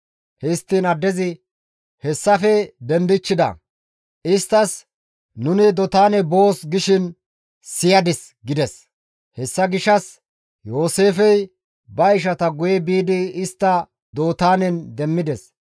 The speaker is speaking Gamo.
Histtiin addezi, «Hessafe dendichchida; isttas, ‹Nuni Dootaane boos› gishin siyadis» gides; hessa gishshas Yooseefey ba ishata guye biidi istta Dootaanen demmides.